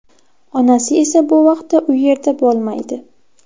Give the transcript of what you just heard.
Onasi esa bu vaqtda u yerda bo‘lmaydi.